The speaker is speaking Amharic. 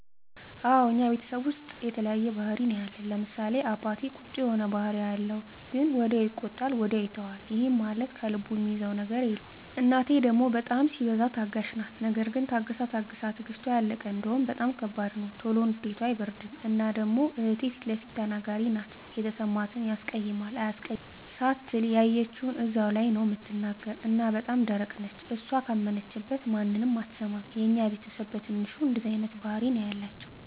አወ እኛ ቤተሰብ ዉስጥ የተለያየ ባህሪ ነዉ ያለን፤ ለምሳሌ፦ አባቴ ቁጡ የሆነ ባህሪ ነዉ ያለዉ ግን ወዲያዉ ይቆጣል ወዲያዉ ይተወዋል ይህም ማለት ከልቡ እሚይዘዉ ነገር የለም፣ እናቴ ደሞ በጣም ሲበዛ ታጋሽ ናት ነገር ግን ታግሳ ታግሳ ትግስቷ ያለቀ እንደሆነ በጣም ከባድ ነዉ። ቶሎ ንዴቷ አይበርድም እና ደሞ እህቴ ፊለፊት ተናጋሪ ናት የተሰማትን ያስቀይማል አያስቀይምም ሳትል ያየችዉን እዛዉ ላይ ነዉ እምትናገር እና በጣም ደረቅ ነች እሷ ካመነችበት ማንንም አትሰማም። የኛ ቤተስብ በትንሹ እንደዚህ አይነት ባህሪ ነዉ ያላቸዉ።